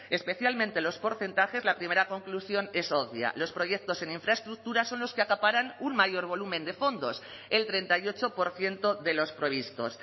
especialmente los porcentajes la primera conclusión es obvia los proyectos en infraestructuras son los que acaparan un mayor volumen de fondos el treinta y ocho por ciento de los previstos